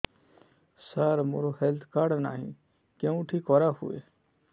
ସାର ମୋର health card ନାହିଁ କେଉଁଠି କରା ହୁଏ